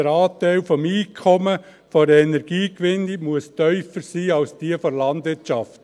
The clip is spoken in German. Der Anteil des Einkommens aus der Energiegewinnung muss tiefer sein als jener aus der Landwirtschaft.